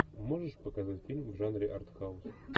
можешь показать фильм в жанре артхаус